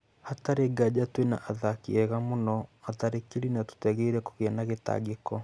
Hatarĩ nganja twĩna athaki ega mũno atharĩkĩri na tũtiagĩrĩiro kũgĩa na gĩtangĩko.